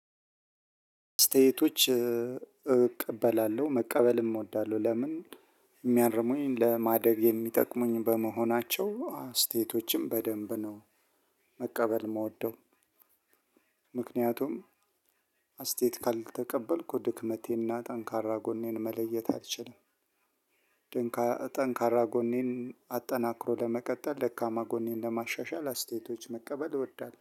ስቴቶች እቀበላለሁ መቀበልም እወዳለሁ ለምን የሚያርሙኝ ለማደግ የሚጠቅሙኝ በመሆናቸው አስተያየቶችም በደንብ ነው መቀበል የምወደው። ምክንያቱም አስተያየት ካልተቀበልኩ ድክመቴና ጠንካራ ጎኔን መለየት አልችልም። ጠንካራ ጎኔን አጠናክሮ ለመቀጠል ደካማ ጎኔን ለማሻሻል አስተያየቶች መቀበል እወዳለሁ